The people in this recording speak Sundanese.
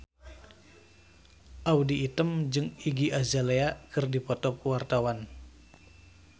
Audy Item jeung Iggy Azalea keur dipoto ku wartawan